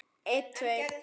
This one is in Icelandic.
Þín systir, Ósk.